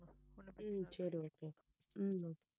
உம் சரி okay உம்